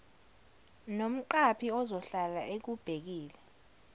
nomqaphi ozohlala ekubhekile